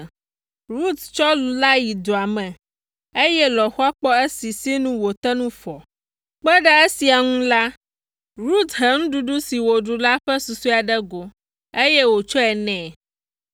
Rut tsɔ lu la yi dua me, eye lɔ̃xoa kpɔ esi sinu wòte ŋu fɔ. Kpe ɖe esia ŋu la, Rut he nuɖuɖu si wòɖu la ƒe susɔe ɖe go, eye wòtsɔe nɛ.